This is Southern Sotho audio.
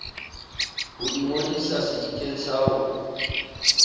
ho ingodisa sedikeng sa ho